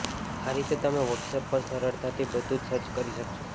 આ રીતે તમે વોટ્સએપ પર સરળતાથી બધું જ સર્ચ કરી શકશો